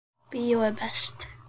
Bíó er best.